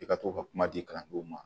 I ka to ka kuma di kalandenw ma